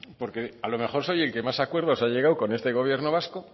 porque a lo mejor soy el que más acuerdos ha llegado con este gobierno vasco